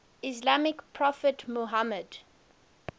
islamic prophet muhammad